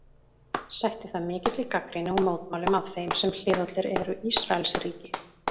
Sætti það mikilli gagnrýni og mótmælum af þeim sem hliðhollir eru Ísraelsríki.